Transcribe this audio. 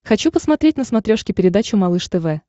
хочу посмотреть на смотрешке передачу малыш тв